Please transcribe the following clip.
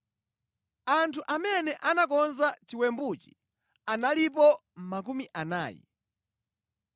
Anthu amene anakonza chiwembuchi analipo makumi anayi.